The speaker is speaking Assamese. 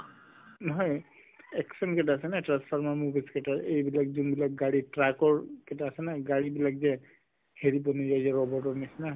নহয় action কেইটা আছে নহয় transformers movies এইবিলাক যোনবিলাক গাড়ীত truck ৰ আছে ন গাড়ীবিলাক যে হেৰি বনি যায় যে robot ৰ নিচিনা